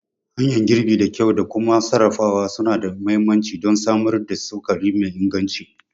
Hanyar girbi da kyau da kuma sarrafawa suna da mahimmanci don samar da sukari mai inganci.